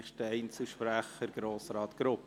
Der nächste Einzelsprecher ist Grossrat Grupp.